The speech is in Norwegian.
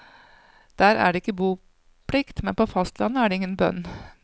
Der er det ikke boplikt, men på fastlandet er det ingen bønn.